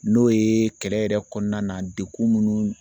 N'o ye kɛlɛ yɛrɛ kɔnɔna na dekun munnu